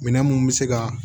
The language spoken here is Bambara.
Minɛn mun bɛ se ka